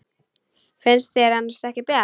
Finnst þér annars ekki bjart?